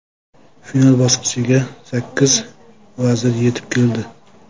Final bosqichiga sakkiz vazir yetib keldi.